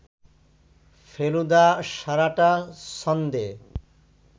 ফেলুদা সারাটা সন্ধে